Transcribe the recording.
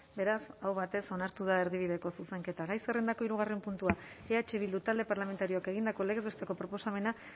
beraz aho batez onartu da erdibideko zuzenketa gai zerrendako hirugarren puntua eh bildu talde parlamentarioak egindako legez besteko proposamena